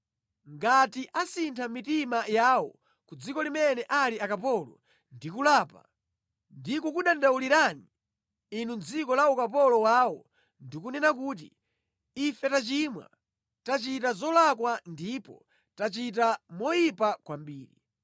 Ngati asintha mitima yawo ku dziko limene ali akapolo ndi kulapa ndi kukudandaulirani inu mʼdziko la ukapolo wawo ndi kunena kuti, ‘Ife tachimwa, tachita zolakwa ndipo tachita moyipa kwambiri.’